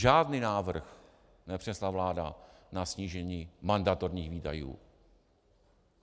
Žádný návrh nepřinesla vláda na snížení mandatorních výdajů.